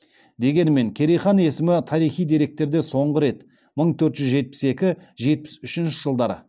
дегенмен керей хан есімі тарихи деректерде соңғы рет мың төрт жүз екі жетпіс үшінші жылдары